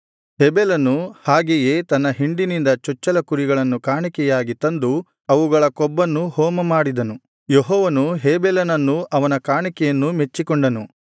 ಹೇಬೆಲನು ಹಾಗೆಯೇ ತನ್ನ ಹಿಂಡಿನಿಂದ ಚೊಚ್ಚಲ ಕುರಿಗಳನ್ನು ಕಾಣಿಕೆಯಾಗಿ ತಂದು ಅವುಗಳ ಕೊಬ್ಬನ್ನು ಹೋಮ ಮಾಡಿದನು ಯೆಹೋವನು ಹೇಬೆಲನನ್ನೂ ಅವನ ಕಾಣಿಕೆಯನ್ನು ಮೆಚ್ಚಿಕೊಂಡನು